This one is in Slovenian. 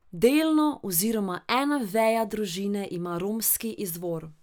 Delno oziroma ena veja družine ima romski izvor.